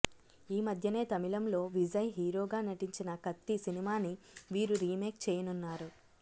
ఈమధ్యనే తమిళంలో విజయ్ హీరోగా నటించిన కత్తి సినిమాని వీరు రీమేక్ చేయనున్నారు